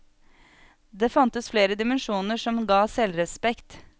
Det fantes flere dimensjoner som ga selvrespekt.